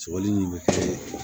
Sɔkɔli min be kɛ